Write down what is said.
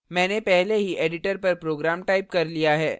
मैंने पहले ही editor पर program टाइप कर लिया है